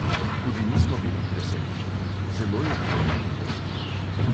"Tudi mi smo bili presenečeni, zelo je bilo neprijetno."